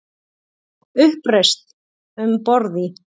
Uppreisn um borð í